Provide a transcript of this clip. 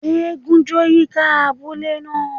Égún jó yika abule naa.